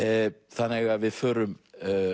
þannig að við förum